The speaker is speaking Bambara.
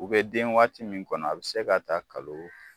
U bɛ den waati min kɔnɔ a bɛ se ka taa kalo